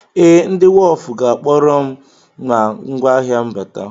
Ee, ndị wọf ga-akpọrọ m ma ngwáahịa m bata.